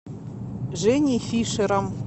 женей фишером